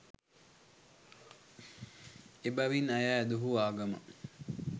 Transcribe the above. එබැවින් ඇය ඇදහූ ආගම